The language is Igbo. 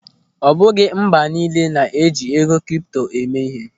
Ọ bụghị mba niile na-eji ego kripto eme ihe.